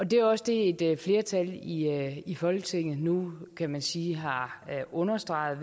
det er også det et flertal i i folketinget nu kan man sige har understreget